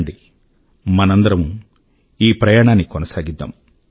రండి మనందరమూ ఈ ప్రయాణాన్ని కొనసాగిద్దాం